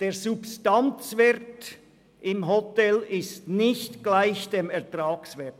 – Der Substanzwert in der Hotellerie ist nicht gleich dem Ertragswert.